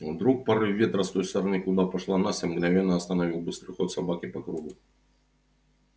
вдруг порыв ветра с той стороны куда пошла настя мгновенно остановил быстрый ход собаки по кругу